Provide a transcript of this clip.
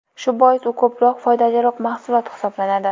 Shu bois u ko‘proq foydaliroq mahsulot hisoblanadi.